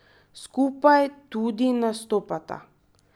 Skupaj tudi nastopata.